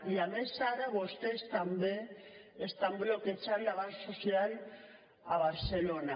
i a més ara vostès també estan bloquejant l’avanç social a barcelona